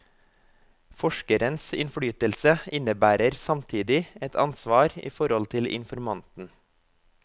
Forskerens innflytelse innebærer samtidig et ansvar i forhold til informanten.